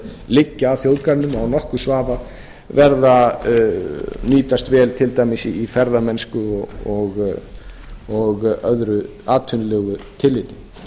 liggja að þjóðgarðinum og án nokkurs vafa nýtast vel til dæmis í ferðamennsku og öðru atvinnulegu tilliti